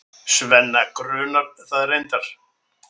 Svenna grunar það reyndar.